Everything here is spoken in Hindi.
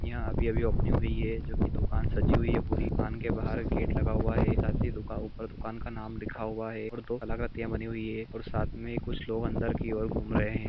यहा अभी अभी ओपनिग हुई है जो की दुकान सजी हुई है पुरी दुकान के बहार गेट लगा हुआ है साथ ही ऊपर दुकान का नाम लिखा हुआ है और दो कलाकृतियां बनी हुई है और साथ में कुछ लोग अंदर की और घूम रहे है।